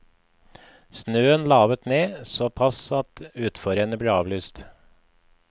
Snøen lavet ned, såpass at utforrennet ble avlyst.